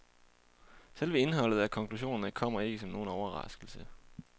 Selve indholdet af konklusionerne kommer ikke som nogen overraskelse.